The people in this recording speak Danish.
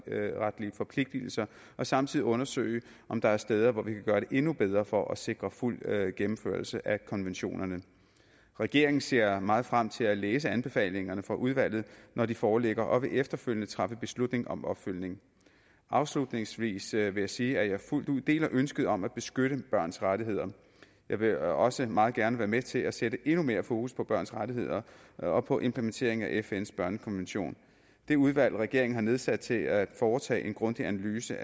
forpligtelser og samtidig undersøge om der er steder hvor vi kan gøre det endnu bedre for at sikre fuld gennemførelse af konventionerne regeringen ser meget frem til at læse anbefalingerne fra udvalget når de foreligger og vil efterfølgende træffe beslutning om opfølgning afslutningsvis vil jeg sige at jeg fuldt ud deler ønsket om at beskytte børns rettigheder jeg vil også meget gerne være med til at sætte endnu mere fokus på børns rettigheder og på implementering af fns børnekonvention det udvalg regeringen har nedsat til at foretage en grundig analyse